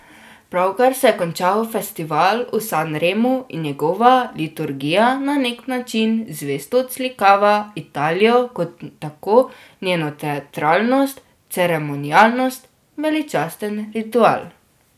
Pravkar se je končal festival v Sanremu in njegova liturgija na neki način zvesto odslikava Italijo kot tako, njeno teatralnost, ceremonialnost, veličasten ritual.